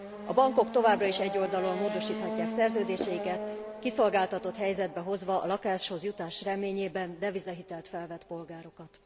A bankok továbbra is egyoldalúan módosíthatják szerződéseiket, kiszolgáltatott helyzetbe hozva a lakáshoz jutás reményében devizahitelt felvett polgárokat.